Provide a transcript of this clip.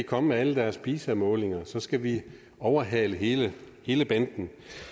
komme med alle deres pisa målinger og så skal vi overhale hele hele banden